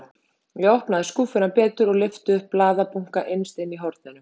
Ég opnaði skúffuna betur og lyfti upp blaðabunka innst inni í horninu.